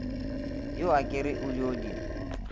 yo akere o dio di